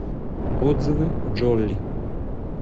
отзывы джолли